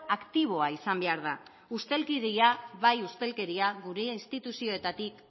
aktiboa izan behar da ustelkeria bai ustelkeria gure instituzioetatik